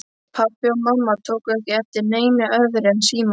Pabbi og mamma tóku ekki eftir neinu öðru en símanum.